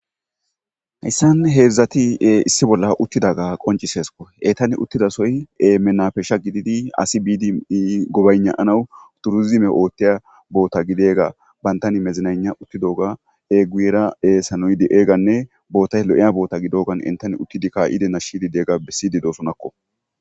hayssan heedzdzati7e issi bolla uttidaga qonciseeskko etani uttidasoy e menapeesha gididi asi bidii gobaynaanawu turuzime oothtiya boota gideega bantani mezinayna uttidoga eguyera ee sanoydi eeganne bootay lo7eya boota gidogan entani uttidi ka7ide nashshidideega bisidi doosonakko